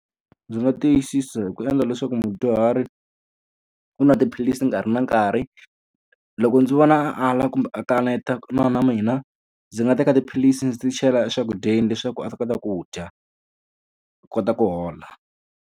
Ndzi nga tiyisisa hi ku endla leswaku mudyuhari u nwa tiphilisi hi nkarhi na nkarhi. Loko ndzi vona a ala kumbe a kanetana na mina, ndzi nga teka tiphilisi ndzi ti chela eswakudyeni leswaku a ta kota ku dya, a kota ku hola.